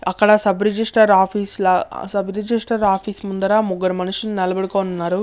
ఆక్కడ sub registrar office ల sub registrar office ముందర ముగ్గురు మనుషులు ఉన్నారు.